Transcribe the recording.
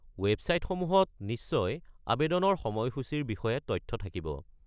ৱেবছাইটসমূহত নিশ্চয় আৱেদনৰ সময়সূচিৰ বিষয়ে তথ্য থাকিব।